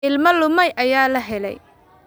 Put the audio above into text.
Ilmo lumay ayaa la helay.